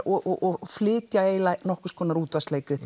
og flytja eiginlega nokkurs konar